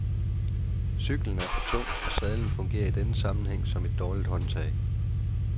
Cyklen er for tung, og sadlen fungerer i denne sammenhæng som et dårligt håndtag.